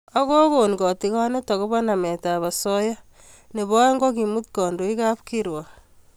Ak kokon kotigonet agobo nametab osoya nebo oeng ko kemut kandoik kapkirwok